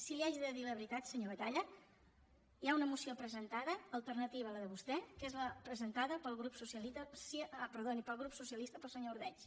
si li haig de dir la veritat senyor batalla hi ha una moció presentada alternativa a la de vostè que és la presentada pel grup socialista pel senyor ordeig